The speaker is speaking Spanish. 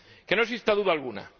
¡Que no exista duda alguna!